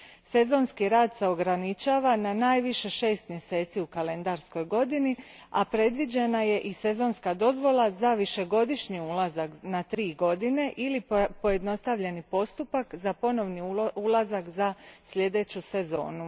Sezonski rad se ograničava na najviše šest mjeseci u kalendarskoj godini, a predviđeni su i sezonska dozvola za višegodišnji ulazak na tri godine ili pojednostavljeni postupak za ponovni ulazak za sljedeću sezonu.